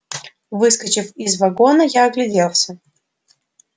выскочив из вагона я огляделся